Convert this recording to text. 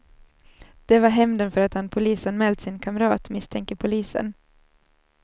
Det var hämnden för att han polisanmält sin kamrat, misstänker polisen.